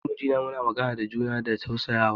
Ni da mijina muna magana da juna da tausayawa.